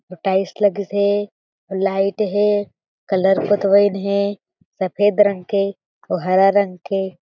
अऊ टाइल्स लगिस हें लाइट हे कलर पोतवाइन हे सफ़ेद रंग के अउ हरा रंग के--